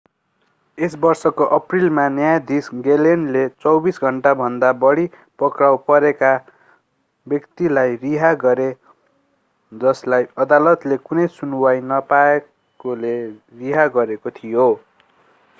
यस वर्षको अप्रिलमा न्यायाधीश ग्लेनले 24 घण्टाभन्दा बढी पक्राउ परेका व्यक्तिलाई रिहा गरे जसलाई अदालतले कुनै सुनुवाइ नपाएकोले रिहा गरेको थियो